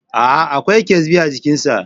Aa, Akwai ƙyasbi a jikin sa